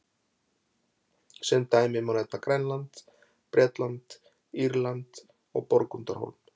Sem dæmi má nefna Grænland, Bretland, Írland og Borgundarhólm.